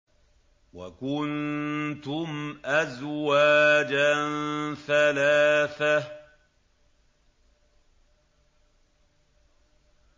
وَكُنتُمْ أَزْوَاجًا ثَلَاثَةً